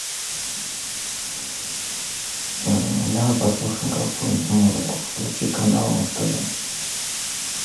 давай послушаем какую нибудь музыку включи канал муз тв